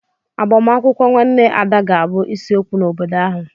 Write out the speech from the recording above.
Agbamakwụkwọ nwanne Ada ga-abụ isiokwu n'obodo ahu.